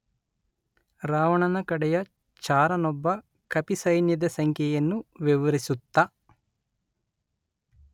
ರಾವಣನ ಕಡೆಯ ಚಾರನೊಬ್ಬ ಕಪಿಸೈನ್ಯದ ಸಂಖ್ಯೆಯನ್ನು ವಿವರಿಸುತ್ತ